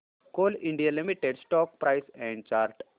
Coal India Limited stock price and chart